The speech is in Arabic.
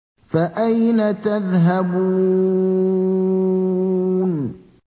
فَأَيْنَ تَذْهَبُونَ